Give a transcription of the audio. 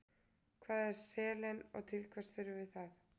Hvað er selen og til hvers þurfum við það?